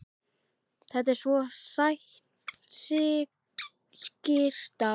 Þetta er svo sæt skyrta.